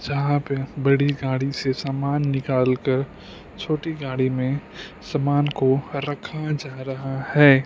जहां पे बड़ी गाड़ी से समान निकाल कर छोटी गाड़ी में समान को रखा जा रहा है।